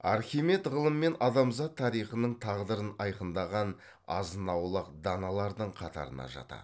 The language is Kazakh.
архимед ғылым мен адамзат тарихының тағдырын айқындаған азын аулақ даналардың қатарына жатады